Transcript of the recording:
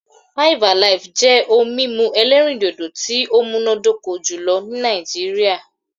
5 Alive' jẹ́ ohun mímu elérìndòdò tí ó múnádóko jùlō ní Nàìjíríà